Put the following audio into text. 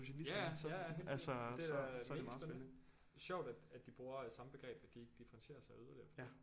Ja ja ja ja helt sikkert det er mega spændende sjovt at at de bruger samme begreb at de ikke differentierer sig yderligere